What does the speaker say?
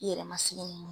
I yɛrɛ ma sigi ni mun ye